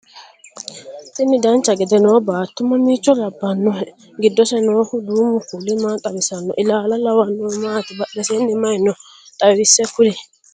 tini dancha gede noo baatto mamiicho labbannohe? giddose noohu duumu kuuli maa xawisanno? ilaala lawannohu maati? badhesiinni maye no xawisse kuli?